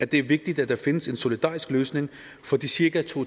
det er vigtigt at der findes en solidarisk løsning for de cirka to